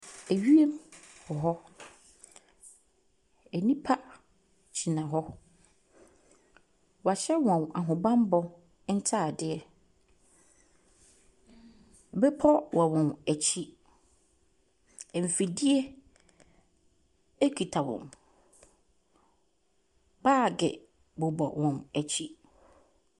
Ewiem wɔ hɔ. Ɛnipa gyina hɔ. W'ahyɛ wɔn ahobanbɔ ntaadeɛ. Bepɔ wɔ wɔn akyi. Mfidie ɛkita wɔn. Baagi bobɔ wɔ akyi.